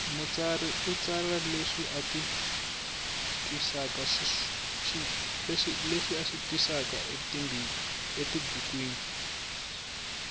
mutsari u tsara leswi ati twisakaswona etibukwini